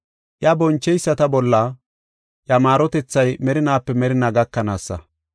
Iya boncheyisata bolla, iya maarotethay merinaape merinaa gakanaasa.